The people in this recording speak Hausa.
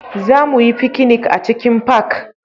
Za mu yi fikinik a cikin fak